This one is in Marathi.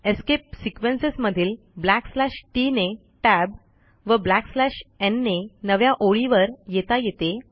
एस्केप सिक्वेन्सेस मधील ब्लॅकस्लॅश टीटी ने टॅब व ब्लॅकस्लॅश न् ने नव्या ओळीवर येता येते